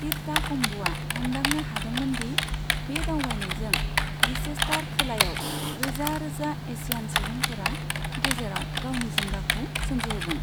तिर्ता कम्ब'आ हमदांनो हादोंमोन दि बे दावबायनायजों लिसेस्टार खोलायाव रोजा रोजा एसियान सुबंफोरा गेजेराव गावनि जिंगाखौ सोमजिहोगोन ।